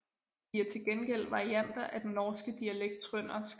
De er til gengæld varianter af den norske dialekt trøndersk